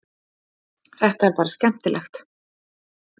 Þetta er bara skemmtilegt